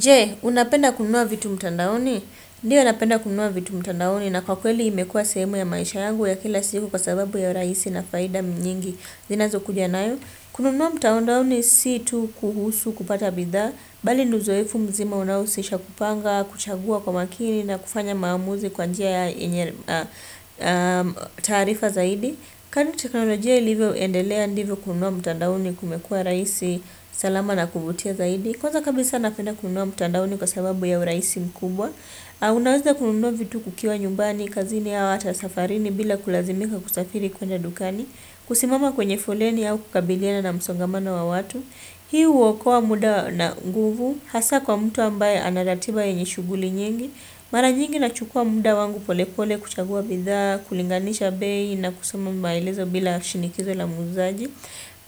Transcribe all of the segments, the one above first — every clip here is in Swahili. Jee, unapenda kununua vitu mtandaoni? Ndiyo napenda kununua vitu mtandaoni na kwa kweli imekua sehemu ya maisha yangu ya kila siku kwa sababu ya urahisi na faida nyingi zinazo kuja nayo. Kununua mtandaoni si tu kuhusu kupata bidhaa, bali ni uzoefu mzima unaohusisha kupanga, kuchagua kwa makini na kufanya maamuzi kwa njia ya taarifa zaidi. Ka ni teknolojia ilivyo endelea ndivyo kununua mtandaoni kumekua rahisi salama na kuvutia zaidi. Kwanza kabisa napenda kununua mtandaoni kwa sababu ya urahisi mkubwa. Unaweza kununua vitu kukiwa nyumbani, kazini au ata safarini bila kulazimika kusafiri kwenda dukani. Kusimama kwenye foleni au kukabiliana na msongamano wa watu. Hii uokoa muda na nguvu. Hasa kwa mtu ambaye anaratiba yenye shughuli nyingi. Mara nyingi nachukua muda wangu pole pole kuchagua bidhaa kulinganisha bei na kusoma maelezo bila shinikizo la muuzaji.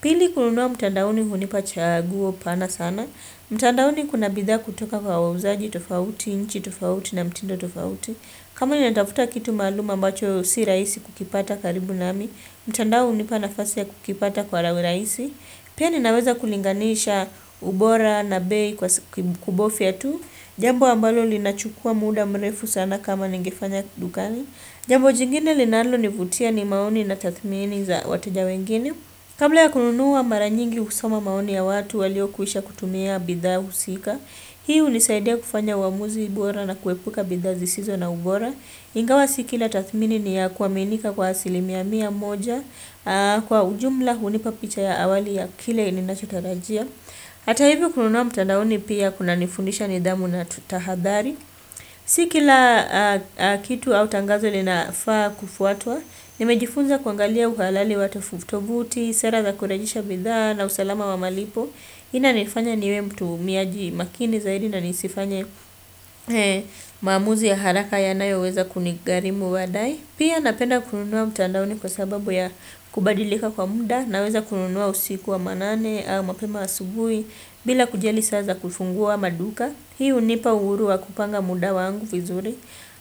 Pili kununua mtandaoni hunipa chaguo pana sana. Mtandaoni kuna bidhaa kutoka kwa wauzaji, tofauti, nchi, tofauti na mtindo tofauti. Kama nina tafuta kitu maalum ambacho si rahisi kukipata karibu nami. Mtandao hunipa nafasi ya kukipata kwa ra uraisi. Pia ni naweza kulinganisha ubora na bei kwa kubofya tu. Jambo ambalo linachukua muda mrefu sana kama ningefanya dukani. Jambo jingine linalo nivutia ni maoni na tathmini za wateja wengine. Kabla ya kununua mara nyingi husoma maoni ya watu walio kwisha kutumia bidhaa husika. Hii hunisaidia kufanya uamuzi bora na kuepuka bidhaa zisizo na ubora. Ingawa si kila tathmini ni ya kuaminika kwa asilimia mia moja. Kwa ujumla hunipa picha ya awali ya kile ninachotarajia. Hata hivyo kununua mtandaoni pia kuna nifundisha nidhamu na tahadhari. Si kila kitu au tangazo linafaa kufuatwa. Nimejifunza kuangalia uhalali wa tovutovuti, sera za kurejesha bidhaa na usalama wa malipo. Inani fanya niwe mtumiaji makini zaidi na nisifanye maamuzi ya haraka yanayo weza kunigharimu badadae pia napenda kununua mtandaoni kwa sababu ya kubadilika kwa muda naweza kununua usiku wa manane au mapema asubuhi bila kujali saa za kufungua maduka hii hunipa uhuru wa kupanga muda wangu vizuri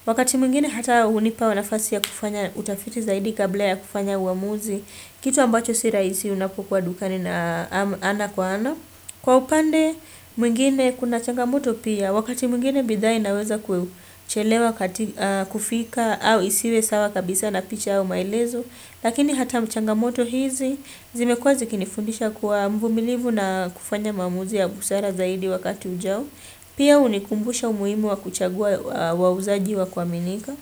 wakati mingine hata hunipa nafasi ya kufanya utafiti zaidi kabla ya kufanya uamuzi kitu ambacho si rahisi unapokuwa dukani na ana kwa ana kwa upande mwingine kuna changamoto pia wakati mwingine bidhaa inaweza kuchelewa katika kufika au isiwe sawa kabisa na picha au maelezo lakini hata changamoto hizi zimekuwa zikini fundisha kuwa mvumilivu na kufanya maamuzi ya busara zaidi wakati ujao pia hunikumbusha umuhimu wa kuchagua wauzaji wa kuaminika.